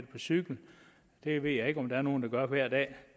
på cykel det ved jeg ikke om der er nogle der gør hver dag